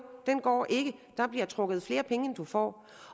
den går ikke der bliver trukket flere penge end du får